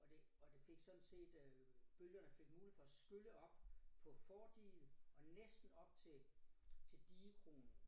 Og det og det fik sådan set øh bølgerne fik mulighed for at skylle op på fordiget og næsten op til til digekronen